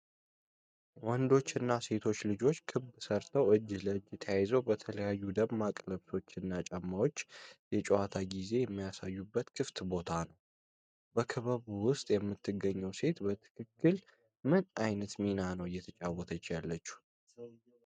ወንዶችና ሴቶች ልጆች ክብ ሰርተው እጅ ለእጅ ተያይዘው በተለያዩ ደማቅ ልብሶች እና ጫማዎች የጨዋታ ጊዜ የሚያሳዩበት ክፍት ቦታ ነው። በክበቡ ውስጥ የምትገኘው ሴት በትክክል ምን አይነት ሚና ነው እየተጫወተች ያለው?